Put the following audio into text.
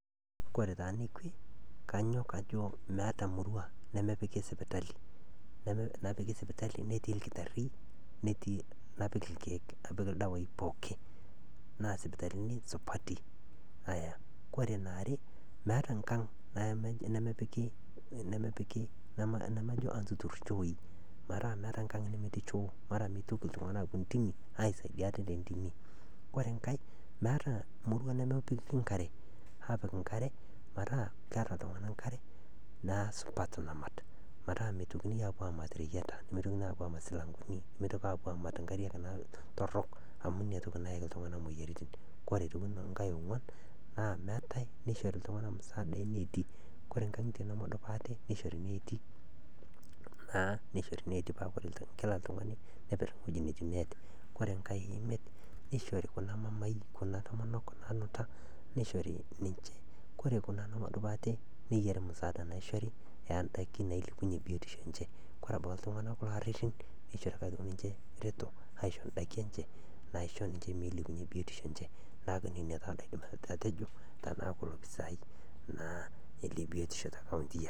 Kore taa nekwe kanyok ajo meata emurrua nemepiki esipitali netii lkitari netii, napik irkeek napik irdawaii pookin na sipitalini supati, kore neare meeta enkang nemepiki namajo entuturr ichooi metaa enkang nemetii nchoo mara nemeitoki ltungana aapo intimi aisaidia ate te ntimi, kore inkae meata murrua nemepiki inkare aapik inkarre metaa keata ltunganak inkarre naa supat namat, metaa meitokini aapo aamat rayieta nemeitokini aapo aamat silang'oni nemeitoki aapo aamat inka'rriak torrok amu inatoki nayaki ltunganak imoyiarritin, kore aitoki inkae e ongwan naa meatae neishori ltunganak msaada enetii, kore nkang'itie nemedup ate neishori neeti naa neishori neeti paa kore kila ltungani neper weji netii neet, kore enkae e imiet neishori kuna mamaai kuna naanuta neishori ninche ,kore kuna nemedup ate neyari musaada neishori aa endaki nailepunye ebiotisho enye ,kore abaki ltunganak kulo ararin neishori ake aitoki ninche ereto aisho endaki enche naisho ninche meilepunye biotisho enche naaku nenia taa indaki natejo tanaaku lopisaai naa le biotisho te nkaunti aii.